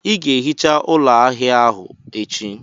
Ị ga-ehicha ụlọ ahịa ahụ echi!